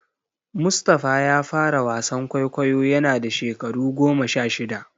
Mustapha ya fara wasan kwaikwayo yana da shekaru goma sha shida.